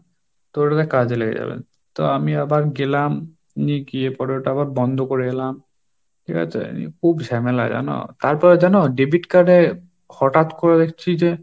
তো ওটাতে কাজে লেগে যাবে, তো আমি আবার গেলাম নিয়ে গিয়ে পরে ওটা আবার বন্ধ করে এলাম ঠিক আছে ? এই নিয়ে খুব ঝামেলা জানো? তারপরে জানো debit card এ হঠাৎ করে দেখছি যে,